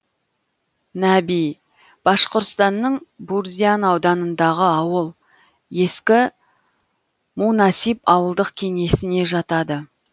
наби башқұртстанның бурзян ауданындағы ауыл ескі мунасип ауылдық кеңесіне жатады